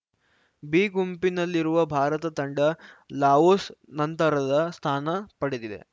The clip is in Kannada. ಬಿ ಗುಂಪಿನಲ್ಲಿರುವ ಭಾರತ ತಂಡ ಲಾವೋಸ್‌ ನಂತರದ ಸ್ಥಾನ ಪಡೆದಿದೆ